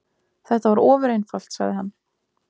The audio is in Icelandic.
Þetta var ofureinfalt, sagði hann.